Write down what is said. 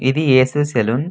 ఇది AC saloon --